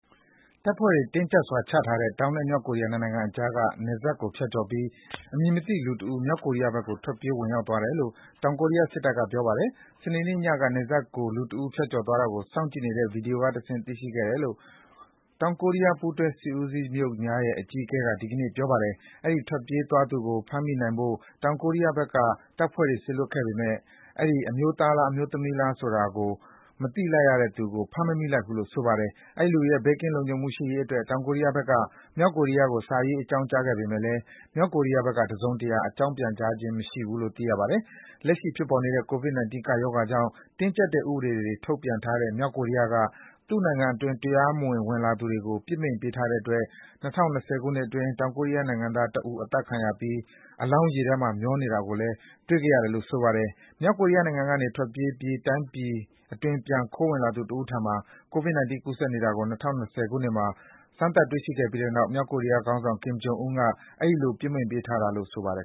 တပ်ဖွဲ့တွေ တင်းကျပ်စွာချထားတဲ့ တောင်နဲ့ မြောက်ကိုရီးယား နှစ်နိုင်ငံအကြားက နယ်စပ်ကို ဖြတ်ကျော်ပြီး အမည်မသိလူတဦး မြောက်ကိုရီးယားဘက်ကို ထွက်ပြေး ဝင်ရောက်သွားတယ်လို့ တောင်ကိုရီးယားစစ်တပ်က ပြောပါတယ်။ စနေနေ့ညက နယ်စပ်ကို လူတဦး ဖြတ်ကျော်သွားတာကို စောင့်ကြည့်နေတဲ့ ဗွီဒီယိုတွေကတဆင့် သိရှိခဲ့ရတယ်လို့ တောင်ကိုရီးယား ပူးတွဲစစ်ဦးစီးချုပ်များရဲ့ အကြီးအကဲက ဒီကနေ့ ပြောပါတယ်။ အဲဒီ ထွက်ပြေးသွားသူကို ဖမ်းမိနိုင်ဖို့ တောင်ကိုရီးယားဘက်က တပ်ဖွဲ့တွေ စေလွှတ်ခဲ့ပေမယ့် အဲဒီ အမျိုးသားလား၊ အမျိုးသမီးလား ဆိုတာကို မသိလိုက်ရတဲ့သူကို ဖမ်းမမိလိုက်ဘူးလို့ ဆိုပါတယ်။ အဲဒီလူရဲ့ ဘေးကင်းလုံခြုံမှု ရှိရေးအတွက် တောင်ကိုရီးယားဘက်က မြောက်ကိုရီးယားကို စာရေး အကြောင်းကြားခဲ့ပေမယ့် မြောက်ကိုရီးယားဘက်က တစုံတရာ အကြောင်းပြန်ကြားခြင်း မရှိသေးဘူးလို့ ဆိုပါတယ်။ လက်ရှိဖြစ်ပေါ်နေတဲ့ COVID-19 ကပ်ရောဂါကြောင့် တင်းကျပ်တဲ့ ဥပဒေတွကို ထုတ်ပြန်ထားတဲ့ မြောက်ကိုရီးယားက သူ့နိုင်ငံအတွင်း တရားမဝင် ဝင်ရောက်လာသူတွေကို ပစ်မိန့်ပေးထားတဲ့အတွက် ၂၀၂၀ ခုနှစ်အတွင်း တောင်ကိုရီးယား နိုင်ငံသားတဦး အသတ်ခံရပြီး အလောင်း ရေထဲမှာ မျောနေတာကို တွေ့ခဲ့ရတယ်လို့ ဆိုပါတယ်။ မြောက်ကိုရီးယားနိုင်ငံကနေ ထွက်ပြေးသွားပြီး တိုင်းပြည်အတွင်း ပြန်ခိုးဝင်လာသူ တဦးထံမှာ COVID-19 ကူးစက်နေတာကို ၂၀၂၀ ခုနှစ်အတွင်းမှာ စမ်းသပ် တွေ့ရှိခဲ့ရပြီးတဲ့နောက် မြောက်ကိုရီးယားခေါင်းဆောင် Kim Jong Un က အဲဒီလို ပစ်မိန့်ပေးထားတာလို့ ဆိုပါတယ်